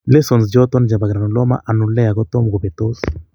Lesions choton chebo granuloma annulare kotom kobetos